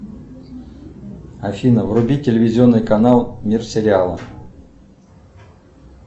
афина вруби телевизионный канал мир сериалов